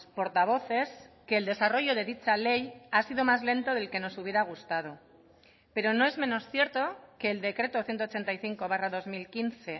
portavoces que el desarrollo de dicha ley ha sido más lento del que nos hubiera gustado pero no es menos cierto que el decreto ciento ochenta y cinco barra dos mil quince